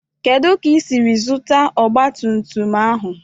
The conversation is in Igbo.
Ebee ka isiri zụta ọgbatumtum ahụ?